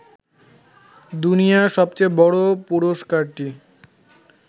দুনিয়ার সবচেয়ে বড় পুরস্কারটি